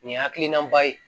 Nin ye hakilinaba ye